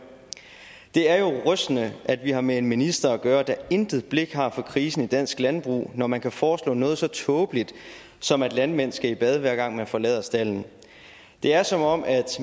rystende at vi har med en minister at gøre der intet blik har for krisen i dansk landbrug når man kan foreslå noget så tåbeligt som at landmænd skal i bad hver gang man forlader stalden det er som om